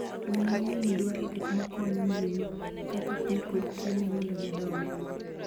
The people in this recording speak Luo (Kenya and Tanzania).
Winy mang'eny dwaro gik makonyo ngima kaka pii kod chiemo mondo gidongi